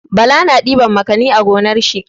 Bala na ɗiban makani a gonar shi.